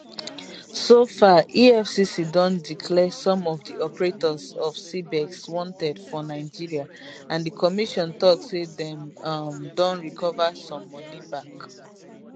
so far efcc don declare some of di operators of cbex wanted for nigeria and di commission tok say dem um don recover some money back